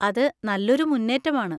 അത് നല്ലൊരു മുന്നേറ്റമാണ്!